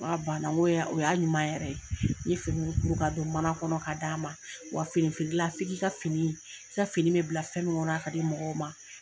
N k'a banna nko o y'a ɲuman yɛrɛ. N ye finiw kuru ka don mana kɔnɔ ka d'a ma. Wa fini feerela f'i ka fini, i ka fini bɛ bila fɛn min kɔnɔ a ka di mɔgɔw ma.